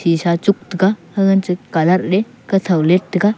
shisha e chuk taiga hangan che coloud ley kathow leit taiga.